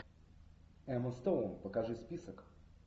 эмма стоун покажи список